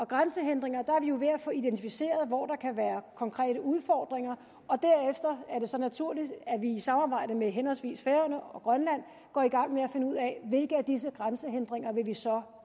grænsehindringer er vi jo ved at få identificeret hvor der kan være konkrete udfordringer og derefter er det så naturligt at vi i samarbejde med henholdsvis færøerne og grønland går i gang med at finde ud af hvilke af disse grænsehindringer vi vi så